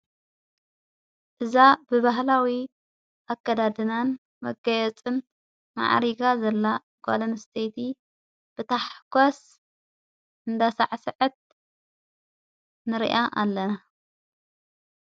እዛ ብበህላዊ ኣከዳድናን መገየጽም መዓሪጋ ዘላ ጓልምስተቲ ብታሕጓስ እንዳሠዕሠዐት ንርያ ኣለና::